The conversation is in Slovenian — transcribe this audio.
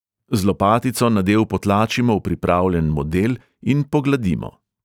Z lopatico nadev potlačimo v pripravljen model in pogladimo.